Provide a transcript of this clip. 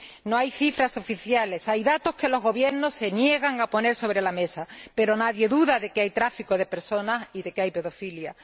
No hay cifras oficiales hay datos que los gobiernos se niegan a poner sobre la mesa, pero nadie duda de que hay tráfico de personas y de que hay pedofilia.